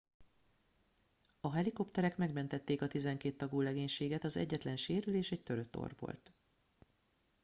a helikopterek megmentették a tizenkét tagú legénységet az egyetlen sérülés egy törött orr volt